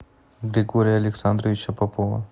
григория александровича попова